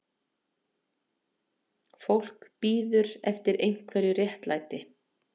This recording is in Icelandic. Fólk bíður eftir einhverju réttlæti